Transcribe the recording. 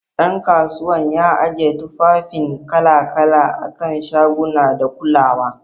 Dan kasuwan ya ajiye tufafin kala-kala a kan shaguna da kulawa.